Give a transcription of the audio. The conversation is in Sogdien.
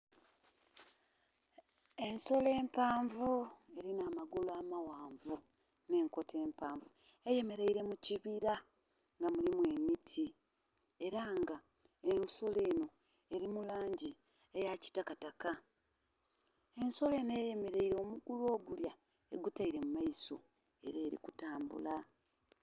Ensolo empanvu elina amagulu amaghanvu nhe'nkoto empanvu eyemeleile mu kibira nga mulimu emiti ela nga ensolo eno eli mu langi eya kitakataka. Ensolo enho eyemeleile, omugulu ogulya egutaile mu maiso ela eli kutambula